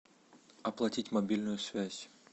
оплатить мобильную связь